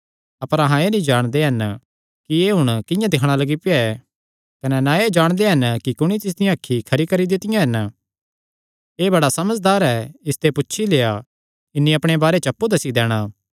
अपर अहां एह़ नीं जाणदे हन कि एह़ हुण किंआं दिक्खणा लग्गी पेआ ऐ कने ना एह़ जाणदे हन कि कुणी तिसदियां अखीं खरी करी दित्तियां हन एह़ बड़ा समझदार ऐ इसते पुछी लेआ इन्हीं अपणे बारे च अप्पु दस्सी दैणा